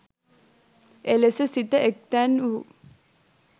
එලෙස සිත එක්තැන් වූ